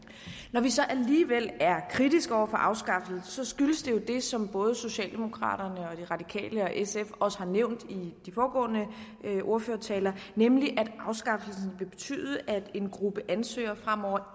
når vi så alligevel er kritiske over for afskaffelsen skyldes det jo det som både socialdemokraterne de radikale og sf også har nævnt i de foregående ordførertaler nemlig at afskaffelsen vil betyde at en gruppe ansøgere fremover